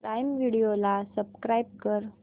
prime video ला subscribe कर